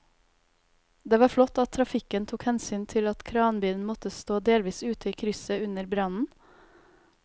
Det var flott at trafikken tok hensyn til at kranbilen måtte stå delvis ute i krysset under brannen.